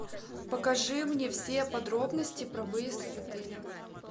покажи мне все подробности про выезд из отеля